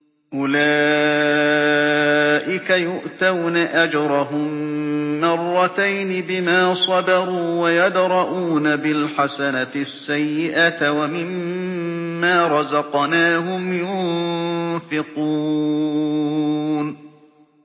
أُولَٰئِكَ يُؤْتَوْنَ أَجْرَهُم مَّرَّتَيْنِ بِمَا صَبَرُوا وَيَدْرَءُونَ بِالْحَسَنَةِ السَّيِّئَةَ وَمِمَّا رَزَقْنَاهُمْ يُنفِقُونَ